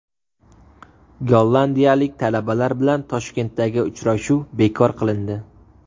Gollandiyalik talabalar bilan Toshkentdagi uchrashuv bekor qilindi.